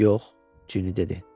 Yox, Cinni dedi.